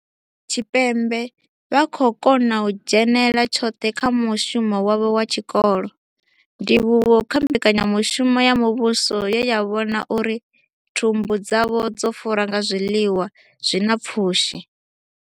Tshipembe vha khou kona u dzhenela tshoṱhe kha mushumo wavho wa tshikolo, ndivhuwo kha mbekanyamushumo ya muvhuso ye ya vhona uri thumbu dzavho dzo fura nga zwiḽiwa zwi na pfushi.